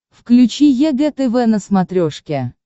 включи егэ тв на смотрешке